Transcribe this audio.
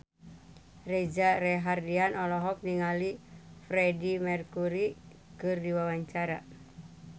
Reza Rahardian olohok ningali Freedie Mercury keur diwawancara